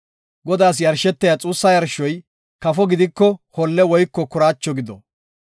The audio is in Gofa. Godaas yarshetiya xuussa yarshoy kafo gidiko holle woyko kuraacho gido.